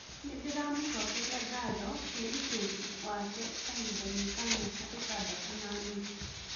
Nĩndĩramũcokeria ngatho wĩrutĩri wake kahindainĩ ka miaka itandato na nuthu